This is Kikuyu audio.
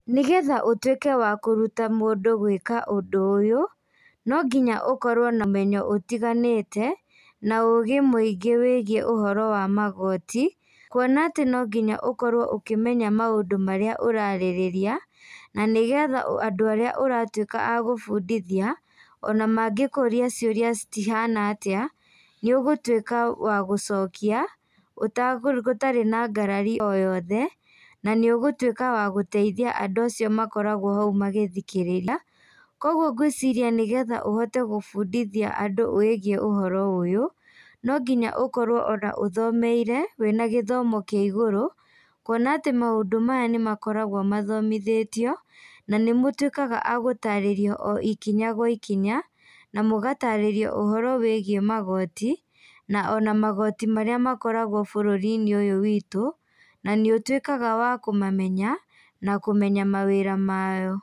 Nĩgetha ũtuĩke wa kũruta mũndũ gwĩka ũndũ ũyũ, no nginya ũkorwo na ũmenyo ũtiganĩte na ũgĩ mũingĩ wĩgiĩ ũhoro wa magoti. Kuona atĩ no nginya ũkorwo ũkĩmenya maũndũ marĩa ũrarĩrĩria na nĩgetha andũ arĩa ũratuĩka a gũbundithia, ona mangĩkũria ciũria cihana atĩa, nĩ ũgũtuĩka wa gũcokia gũtarĩ na ngarari o yothe na nĩ ũgũtuĩka wa gũtithia andũ acio makoragwo hau magĩthikĩrĩria. Koguo ngwĩciria nĩgetha ũhote gũbundithia andũ ũhoro ũyũ, no nginya ona ũkorwo ũthomeire, wĩna gĩthomo kĩa igũrũ, kuona atĩ maũndũ maya nĩ makoragwo mathomithĩtio na nĩ mũtuĩkaga a gũtarĩrio ikinya gwa ikinya na mũgatarĩrio ũhoro wĩgiĩ magooti, na magooti marĩa makorgo bũrũrinĩ ũyũ witũ na nĩ ũtwĩkaga wa kũmamenya na kũmenya mawĩra mao.